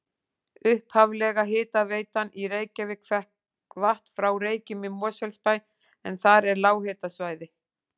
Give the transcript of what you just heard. Upphaflega hitaveitan í Reykjavík fékk vatn frá Reykjum í Mosfellsbæ en þar er lághitasvæði.